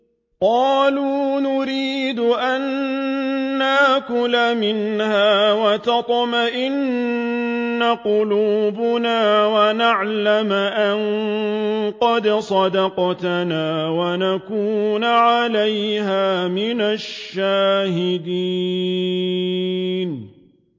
قَالُوا نُرِيدُ أَن نَّأْكُلَ مِنْهَا وَتَطْمَئِنَّ قُلُوبُنَا وَنَعْلَمَ أَن قَدْ صَدَقْتَنَا وَنَكُونَ عَلَيْهَا مِنَ الشَّاهِدِينَ